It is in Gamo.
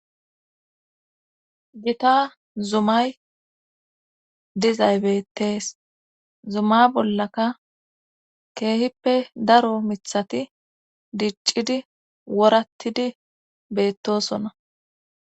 Gita zumay dizaybettees zuma bollaka keehippe daro mithati diccidi worattidi beettosonna